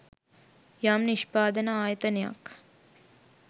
යම් නිෂ්පාදන ආයතනයක්